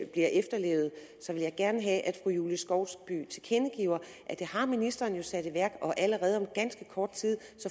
efterlevet så vil jeg gerne have at fru julie skovsby tilkendegiver at det har ministeren sat i værk og allerede om ganske kort tid